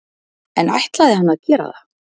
En ætlaði hann að gera það?